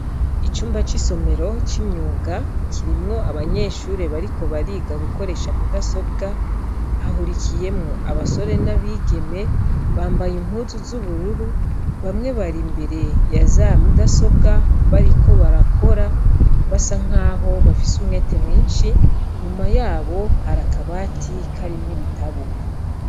Icumba c'isomero c'imyuga kirimwo abanyeshuri bariko bariga gukoresha mudasobwa hahurikiyemwo abasore n'abigeme bambaye impuzu z'ubururu bamwe bari imbere ya za mudasobwa bariko barakora basa nk'aho bafise umwete mwinshi nyuma yao abo hari akabatika arimwe ibitabo.